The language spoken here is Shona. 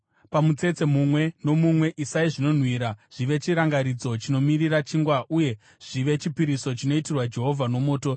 Pamutsetse mumwe nomumwe isai zvinonhuhwira zvive chirangaridzo chinomirira chingwa uye zvive chipiriso chinoitirwa Jehovha nomoto.